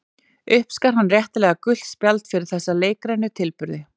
Uppskar hann réttilega gult spjald fyrir þessa leikrænu tilburði.